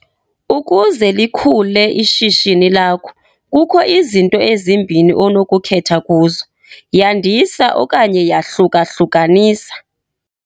Ukuze likhule ishishini lakho, kukho izinto ezimbini onokukhetha kuzo - yandisa okanye yahluka-hlukanisa.